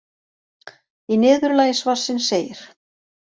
Í niðurlagi svarsins segir: